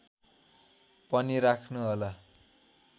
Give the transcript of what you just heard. पनि राख्नुहोला